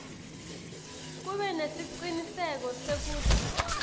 kube nesiciniseko sekutsi